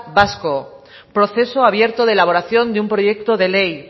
vasco proceso abierto de elaboración de un proyecto de ley